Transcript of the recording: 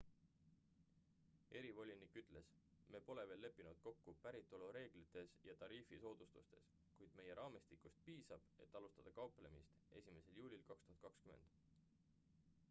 erivolinik ütles me pole veel leppinud kokku päritolureeglites ja tariifi soodustustes kuid meie raamistikust piisab et alustada kauplemist 1 juulil 2020